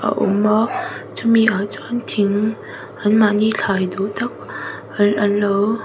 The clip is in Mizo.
a awm a chumi ah chuan thing an mah ni thlai duhtak an anlo--